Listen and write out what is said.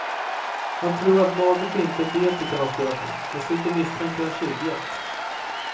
Han tror att magert vinterbete kan ha spelat in, dessutom misstänker han tjuvjakt.